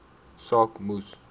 saak moes